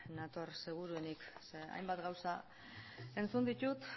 nator seguruenik zeren hainbat gauza entzun ditut